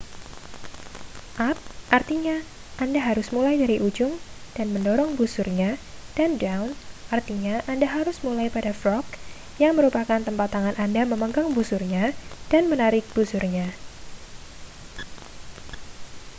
up artinya anda harus mulai dari ujung dan mendorong busurnya dan down artinya anda harus mulai pada frog yang merupakan tempat tangan anda memegang busurnya dan menarik busurnya